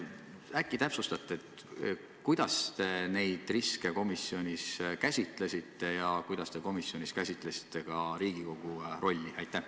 Äkki te täpsustate, kuidas te neid riske komisjonis käsitlesite ja kuidas te käsitlesite komisjonis Riigikogu rolli?